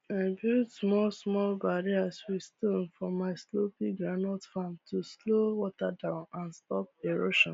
i build small small barrier with stone for my slopy groundnut farm to slow water down and stop erosion